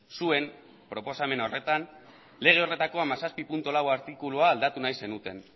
zuen proposamen horretan lege horretako hamazazpi puntu lau artikulua aldatu nahi zenuten